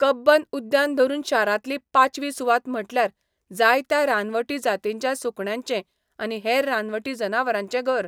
कब्बन उद्यान धरून शारांतली पाचवी सुवात म्हटल्यार जायत्या रानवटी जातींच्या सुकण्यांचें आनी हेर रानवटी जनावरांचें घर.